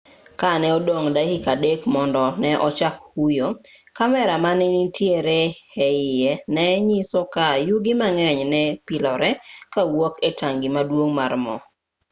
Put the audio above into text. ka ne odong' dakika 3 mondo ne ochak huyo kamera manenitiere e iye ne nyiso ka yugi mang'eny ne pilore kawuok e tangi maduong' mar mo